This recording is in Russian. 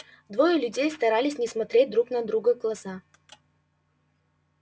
двое людей старались не смотреть друг другу в глаза